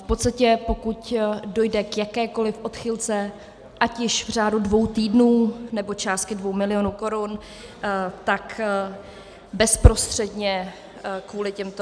V podstatě pokud dojde k jakékoliv odchylce, ať již v řádu dvou týdnů, nebo částky dvou milionů korun, tak bezprostředně kvůli těmto...